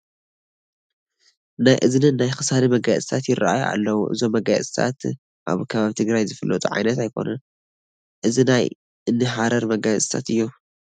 ናይ እዝንን ናይ ክሳድን መጋየፅታት ይርአዩ ኣለዉ፡፡ እዞም መጋየፅታት ኣብ ከባቢ ትግራይ ዝፍለጡ ዓይነት ኣይኮኑን፡፡ ናይ እኒ ሃረሪ መጋየፅታት እዮም፡፡